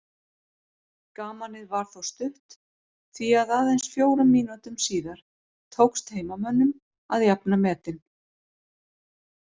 Gamanið var þó stutt því að aðeins fjórum mínútum síðar tókst heimamönnum að jafna metin.